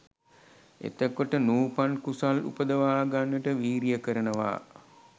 එතකොට නූපන් කුසල් උපදවා ගන්නට වීරිය කරනවා